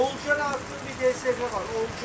Oğulcan atdığım DSG var.